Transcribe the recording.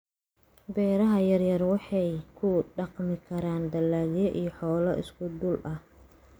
Beeraha yaryar waxay ku dhaqmi karaan dalagyo iyo xoolo isku dhul ah.